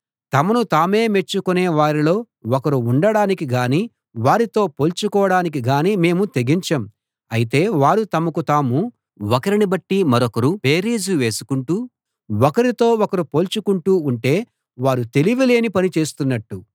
తమను తామే మెచ్చుకొనే వారిలో ఒకరిగా ఉండడానికి గానీ వారితో పోల్చుకోడానికి గానీ మేము తెగించం అయితే వారు తమకు తాము ఒకరిని బట్టి మరొకరు బేరీజు వేసుకుంటూ ఒకరితో ఒకరు పోల్చుకుంటూ ఉంటే వారు తెలివిలేని పని చేస్తున్నట్టు